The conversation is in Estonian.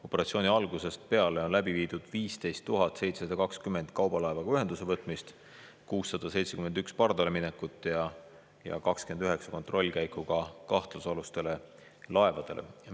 Operatsiooni algusest peale on läbi viidud 15 720 kaubalaevaga ühenduse võtmist, 671 pardaleminekut ja 29 kontrollkäiku kahtlusalustele laevadele.